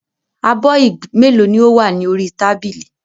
Abọ́ ìgb mélòó ni ó wà ní orí tábìlì?